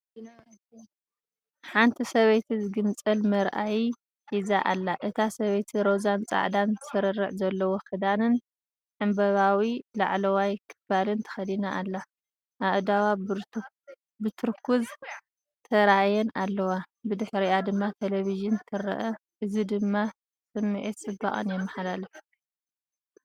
ሓንቲ ሰበይቲ ዝግንፀል መርኣዪ ሒዛ ኣላ። እታ ሰበይቲ ሮዛን ጻዕዳን ስርርዕ ዘለዎ ክዳንን ዕምባባዊ ላዕለዋይ ክፋልን ተኸዲና ኣላ። ኣእዳዋ ብቱርኩዝ ተራእየን ኣለዋ። ብድሕሪኣ ድማ ቴሌቪዥን ትረአ። እዚ ድማ ስምዒት ጽባቐን የመሓላልፍ።